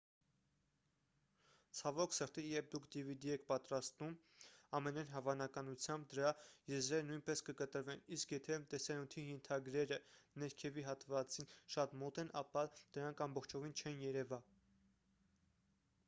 ցավոք սրտի երբ դուք dvd եք պատրաստում ամենայն հավանականությամբ դրա եզրերը նույնպես կկտրվեն իսկ եթե տեսանյութի ենթագրերը ներքևի հատվածին շատ մոտ են ապա դրանք ամբողջովին չեն երևա